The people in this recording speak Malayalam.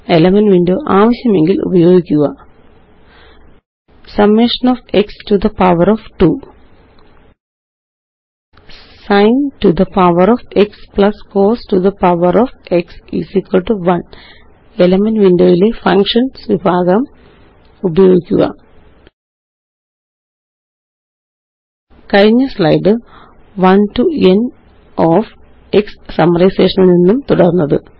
എലിമെന്റ്സ് വിൻഡോ ആവശ്യമെങ്കില് ഉപയോഗിക്കുക summation of x to the power of 2 sin to the power of x plus cos to the power of x 1 elements വിൻഡോയിലെ ഫങ്ഷന്സ് വിഭാഗം ഉപയോഗിക്കുക കഴിഞ്ഞ സ്ലൈഡ് 1 ടോ n ഓഫ് xസമ്മരൈസേഷനില് നിന്നും തുടര്ന്നത്